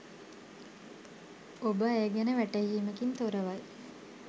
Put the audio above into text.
ඔබ ඇය ගැන වැටහීමකින් තොරවයි